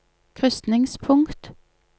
krysningspunkt